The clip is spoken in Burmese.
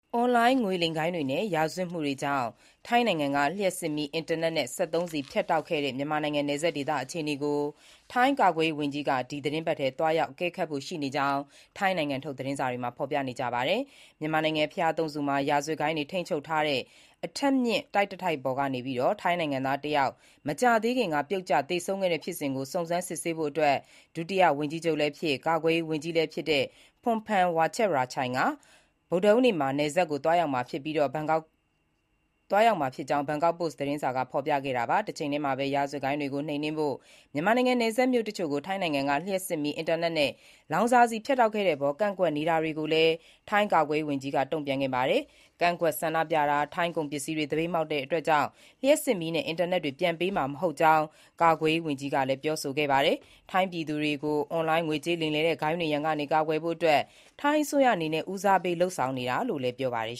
အွန်လိုင်းငွေလိမ်ဂိုဏ်းတွေနဲ့ ရာဇဝတ်မှုတွေကြောင့် ထိုင်းနိုင်ငံက လျှပ်စစ်မီး၊ အင်တာနက်နဲ့ စက်သုံးဆီဖြတ်တောက်ခဲ့တဲ့ မြန်မာနိုင်ငံ နယ်စပ်ဒေသအခြေအနေကို ထိုင်းကာကွယ်ရေးဝန်ကြီး ဒီသီတင်းပတ်ထဲ သွားရောက်အကဲခတ်ဖို့ ရှိနေကြောင်း ထိုင်းနိုင်ငံထုတ် သတင်းတွေမှာ ဖော်ပြပါတယ်။ မြန်မာနိုင်ငံ ဘုရားသုံးဆူမှာ ရာဇဝတ်ဂိုဏ်းတွေထိန်းချုပ်ထားတဲ့ အထပ်မြင့်တိုက်တတိုက်ပေါ်ကနေ ထိုင်းနိုင်ငံသားတယောက် မကြာသေးခင်က ပြုတ်ကျသေဆုံးခဲ့တဲ့ဖြစ်စဉ်ကို စုံစမ်းစစ်ဆေးဖို့ ဒုတိယဝန်ကြီးချုပ်လည်းဖြစ်၊ ကာကွယ်ရေးဝန်ကြီးလည်းဖြစ် Phumtham Wechayachai က မနက်ဖြန် ဗုဒ္ဓဟူးနေ့ နယ်စပ်ကို သွားရောက်မှာဖြစ်ကြောင်း ဘန်ကောက်ပို့စ် သတင်းစာက ဖော်ပြခဲ့တာပါ။ တချိန်တည်းမှာပဲ ရာဇဝတ်ဂိုဏ်းတွေကိုနှိမ်နင်းဖို့ မြန်မာနိုင်ငံနယ်စပ်မြို့တချို့ကို ထိုင်းနိုင်ငံက လျှပ်စစ်မီး၊ အင်တာနက်နဲ့ လောင်စာဆီဖြတ်တောက်ခဲ့တဲ့အပေါ် ကန့်ကွက်နေတာတွေကိုလည်း ထိုင်းကာကွယ်ရေးဝန်ကြီးက တုံ့ပြန်ခဲ့ပါတယ်။ ကန့်ကွက်ဆန္ဒပြတာ၊ ထိုင်းကုန်ပစ္စည်းတွေကို သပိတ်မှောက်တာကြောင့်တော့ လျှပ်စစ်မီးနဲ့အင်တာနက်တွေ ပြန်ပေးမှာမဟုတ်ကြောင်း ကာကွယ်ရေးဝန်ကြီး Phumtham ကပြောဆိုခဲ့တာပါ။ ထိုင်းပြည်သူတွေကို အွန်လိုင်းငွေကြေးလိမ်လည်တဲ့ ဂိုဏ်းတွေရန်ကကာကွယ်ဖို့ ထိုင်းအစိုးရအနေနဲ့ ဦးစားပေးလုပ်ဆောင်နေတာလို့လည်း ပြောပါတယ်